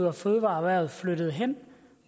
og fødevareerhvervet flyttet hen